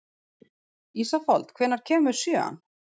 Ísafold, hvenær kemur sjöan?